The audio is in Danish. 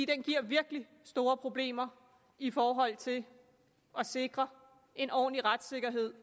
den giver virkelig store problemer i forhold til at sikre en ordentlig retssikkerhed